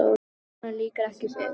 Honum lýkur ekki fyrr.